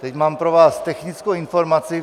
Teď mám pro vás technickou informaci.